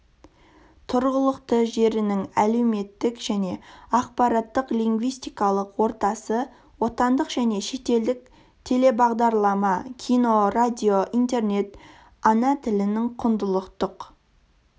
тұрғылықты жерінің әлеуметтік және ақпараттық-лингвистикалық ортасы отандық және шетелдік телебағдарлама кино радио интернет ана тілінің құндылықтық